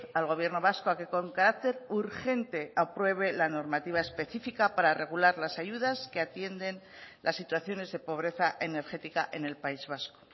al gobierno vasco a que con carácter urgente apruebe la normativa específica para regular las ayudas que atienden las situaciones de pobreza energética en el país vasco